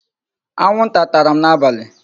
Anwụ nta tara m n'abalị.